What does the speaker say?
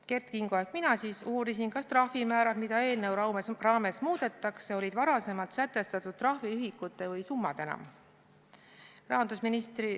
Kert Kingo uuris ehk mina uurisin, kas trahvimäärad, mida eelnõu raames muudetakse, olid varem sätestatud trahviühikute või summadena.